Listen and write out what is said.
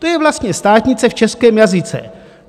To je vlastně státnice v českém jazyce.